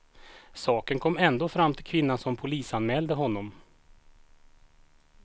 Saken kom ändå fram till kvinnan som polisanmälde honom.